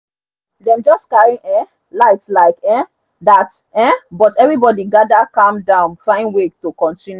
dem just carry um light like um that um but everybody gather calm down find way to continue